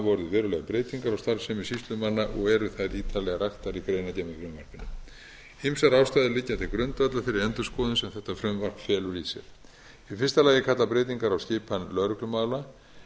orðið verulegar breytingar á starfsemi sýslumanna og eru þær ítarlega raktar í greinargerð með frumvarpinu ýmsar ástæður liggja til grundvallar þeirri endurskoðun sem þetta frumvarp felur í sér í fyrsta lagi kalla breytingar á skipan lögreglumála